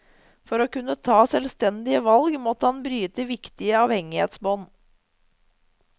For å kunne ta selvstendige valg, måtte han bryte viktige avhengighetsbånd.